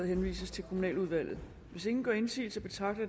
henvises til kommunaludvalget hvis ingen gør indsigelse betragter